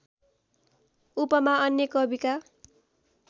उपमा अन्य कविका